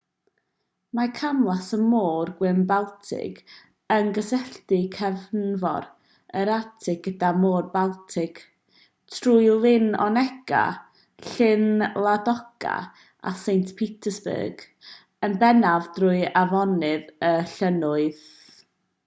mae camlas y môr gwyn-baltig yn cysylltu cefnfor yr arctig gyda'r môr baltig trwy lyn onega llyn ladoga a saint petersburg yn bennaf drwy afonydd a llynnoedd